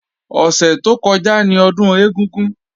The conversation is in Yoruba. Ọ̀sẹ̀ tó kọjá ni Ọdún ẹ̀gúngún